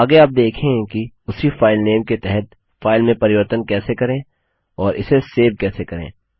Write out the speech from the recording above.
आगे आप देखेंगे कि उसी फाइलनेम के तहत फाइल में परिवर्तन कैसे करें और इसे सेव कैसे करें